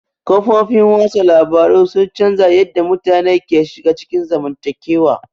Kafofin watsa labaru sun canza yadda mutane ke shiga cikin zamantakewa.